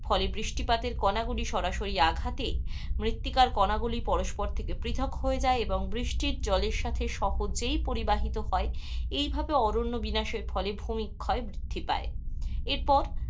ফলে বৃষ্টিপাতের কণাগুলির সরাসরি আঘাতে মৃত্তিকার কণাগুলি পরস্পর থেকে পৃথক হয়ে যায়, এবং বৃষ্টির জলের সাথে সহজেই পরিবাহিত হয়. এইভাবে অরণ্য বিনাশের ফলে ভূমি ক্ষয় বৃদ্ধি পায়, এরপর,